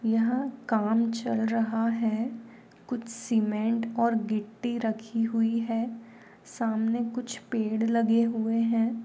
यहाँ काम चल रहा है कुछ सीमेंट और मिठी रखी हुई है। सामने कुछ पेड़ लगे हुए है।